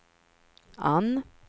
Anne